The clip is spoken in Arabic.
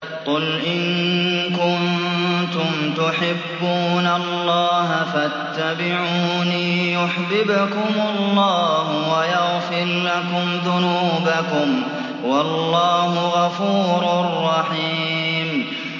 قُلْ إِن كُنتُمْ تُحِبُّونَ اللَّهَ فَاتَّبِعُونِي يُحْبِبْكُمُ اللَّهُ وَيَغْفِرْ لَكُمْ ذُنُوبَكُمْ ۗ وَاللَّهُ غَفُورٌ رَّحِيمٌ